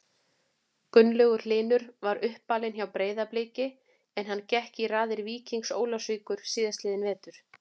Gunnlaugur Hlynur er uppalinn hjá Breiðabliki en hann gekk í raðir Víkings Ólafsvíkur síðastliðinn vetur.